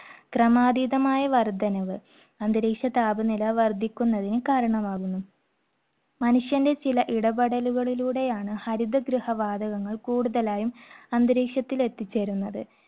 ക്രമാതീതമായ വർദ്ധനവ്, അന്തരീക്ഷതാപനില വർദ്ധിക്കുന്നതിന് കാരണമാകുന്നു. മനുഷ്യന്റെ ചില ഇടപെടലുകളിലൂടെയാണ് ഹരിതഗൃഹ വാതകങ്ങൾ കൂടുതലായും അന്തരീക്ഷത്തിൽ എത്തിച്ചേരുന്നത്.